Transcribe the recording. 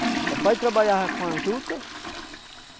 O papai trabalhava com a juta.